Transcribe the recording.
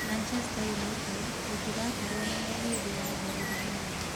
Manchester United gũtigakorũo na mũhĩndĩ wa mbere ũmũthĩ.